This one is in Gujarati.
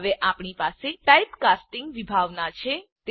હવે આપણી પાસે ટાઇપકાસ્ટિંગ વિભાવના છે